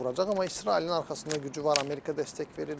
Amma İsrailin arxasında gücü var, Amerika dəstək verir.